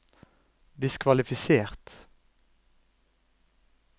diskvalifisert